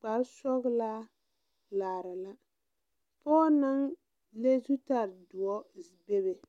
kparesɔglaa laara la pɔɔ naŋ le zutare zdoɔ bebe.